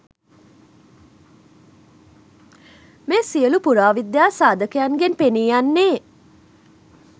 මේ සියලු පුරාවිද්‍යා සාධකයන්ගෙන් පෙනී යන්නේ